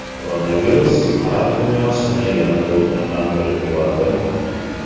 Koronavirus arab dunyosini yana to‘lqinlantirib yuboradimi?